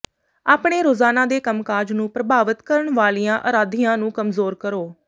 ਆਪਣੇ ਰੋਜ਼ਾਨਾ ਦੇ ਕੰਮਕਾਜ ਨੂੰ ਪ੍ਰਭਾਵਿਤ ਕਰਨ ਵਾਲੀਆਂ ਅਰਾਧੀਆਂ ਨੂੰ ਕਮਜ਼ੋਰ ਕਰੋ